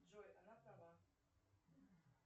джой она права